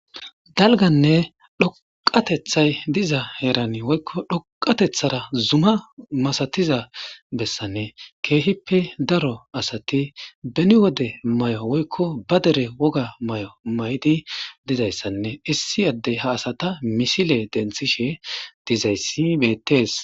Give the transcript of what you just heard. Dalganne dhoqateththay diza heerani woykko dhoqatheththara zuma masathiza bessanne keehippe daro asathi beni wode may7o woykko ba dere woga may7o may7di dizayssanne issi addey ha asatha misile denththishe dizayssi beththees.